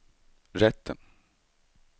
rätten